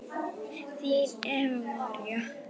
Þín Eva María.